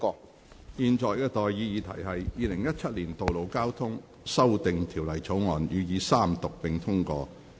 我現在向各位提出的待議議題是：《2017年道路交通條例草案》予以三讀並通過。